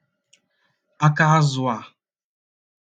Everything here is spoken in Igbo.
’aka azụ̀ a?